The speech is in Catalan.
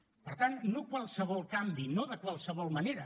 per tant no qualsevol canvi no de qualsevol manera